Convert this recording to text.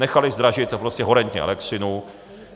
Nechaly zdražit prostě horentně elektřinu.